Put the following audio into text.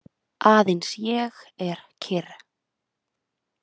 Aðeins ég er kyrr.